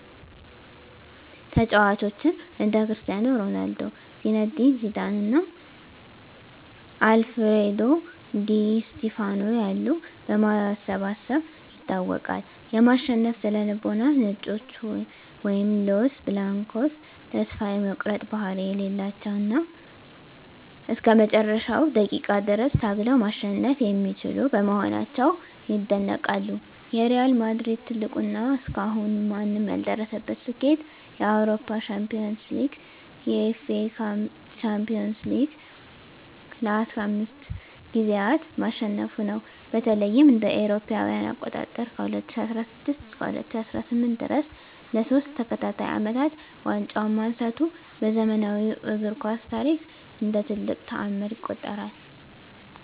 ተጫዋቾችን (እንደ ክርስቲያኖ ሮናልዶ፣ ዚነዲን ዚዳን እና አልፍሬዶ ዲ ስቲፋኖ ያሉ) በማሰባሰብ ይታወቃል። የማሸነፍ ስነ-ልቦና "ነጮቹ" (Los Blancos) ተስፋ የመቁረጥ ባህሪ የሌላቸው እና እስከ መጨረሻው ደቂቃ ድረስ ታግለው ማሸነፍ የሚችሉ በመሆናቸው ይደነቃሉ። የሪያል ማድሪድ ትልቁ እና እስካሁን ማንም ያልደረሰበት ስኬት የአውሮፓ ሻምፒዮንስ ሊግን (UEFA Champions League) ለ15 ጊዜያት ማሸነፉ ነው። በተለይም እ.ኤ.አ. ከ2016 እስከ 2018 ድረስ ለሶስት ተከታታይ አመታት ዋንጫውን ማንሳቱ በዘመናዊው እግር ኳስ ታሪክ እንደ ትልቅ ተአምር ይቆጠራል።